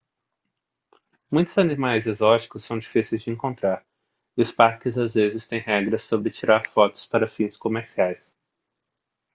muitos animais exóticos são difíceis de encontrar e os parques às vezes têm regras sobre tirar fotos para fins comerciais